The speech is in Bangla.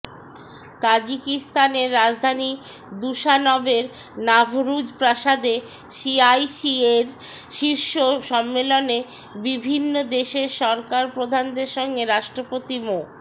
তাজিকিস্তানের রাজধানী দুশানবের নাভরুজ প্রাসাদে সিআইসিএ শীর্ষ সম্মেলনে বিভিন্ন দেশের সরকারপ্রধানদের সঙ্গে রাষ্ট্রপতি মো